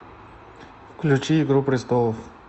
включи игру престолов